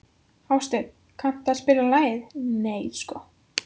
Hásteinn, kanntu að spila lagið „Nei sko“?